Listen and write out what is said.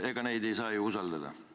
Ega neid ei saa ju usaldada.